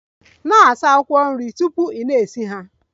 Na-asa akwụkwọ nri tupu ị na-esi nri ha!